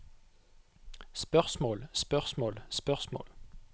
spørsmål spørsmål spørsmål